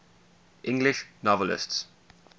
english novelists